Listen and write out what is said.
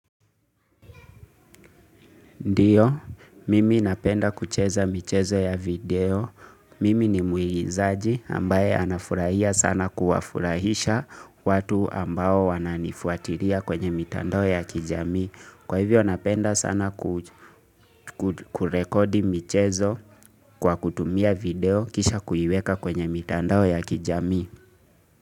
Ndiyo, mimi napenda kucheza michezo ya video, mimi ni muigizaji ambaye anafurahia sana kuwafurahisha watu ambao wananifuatilia kwenye mitandao ya kijamii. Kwa hivyo napenda sana kurekodi michezo kwa kutumia video kisha kuiweka kwenye mitandao ya kijamii.